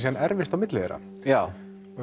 erfist á milli þeirra já